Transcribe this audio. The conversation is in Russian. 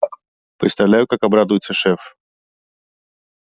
представляю как обрадуется шеф